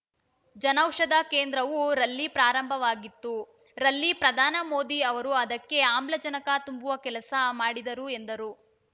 ಜನೌಷಧಿ ಕೇಂದ್ರವು ರಲ್ಲಿ ಪ್ರಾರಂಭವಾಗಿತ್ತು ರಲ್ಲಿ ಪ್ರಧಾನಿ ಮೋದಿ ಅವರು ಅದಕ್ಕೆ ಆಮ್ಲಜನಕ ತುಂಬುವ ಕೆಲಸ ಮಾಡಿದರು ಎಂದರು